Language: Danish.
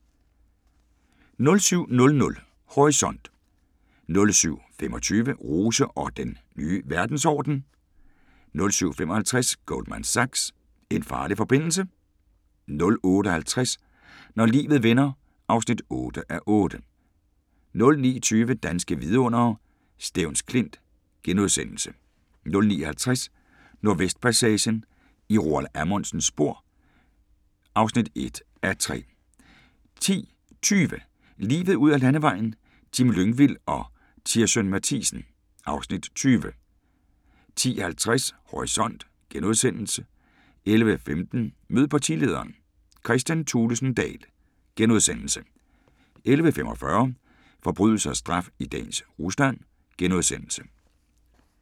07:00: Horisont 07:25: Rose og den nye verdensorden (Afs. 2)* 07:55: Goldman Sachs - en farlig forbindelse? 08:50: Når livet vender (8:8) 09:20: Danske vidundere: Stevns Klint * 09:50: Nordvestpassagen – i Roald Amundsens spor (1:3) 10:20: Livet ud ad landevejen: Jim Lyngvild og Tirssøn Mathiesen (Afs. 20) 10:50: Horisont * 11:15: Mød partilederen: Kristian Thulesen Dahl * 11:45: Forbrydelse og straf i dagens Rusland *